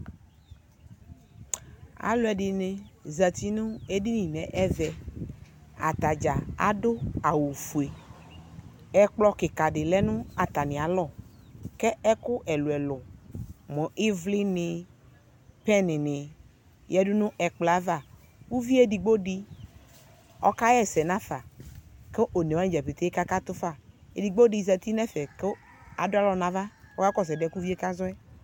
Alʋɛdɩnɩ zati nʋ edini n'ɛ ɛvɛ, atadza adʋ awʋfue Ɛkplɔ kika dɩ lɛ nʋ atamɩalɔ, kɛ ɛkʋ ɛlʋɛlʋ : mʋ ɩvlinɩ , pɛnɩ nɩ yǝdu n'ɛkplɔava Uviedigbo dɩ ɔkaɣɛsɛ nafa, kʋ onewanɩ dza peke kakatʋ fa Edigbodɩ zati n'ɛfɛ kʋ akalɔ n'avȧ kɔka kɔsʋ ɛdɩɛ k'uvie kazɔ yɛ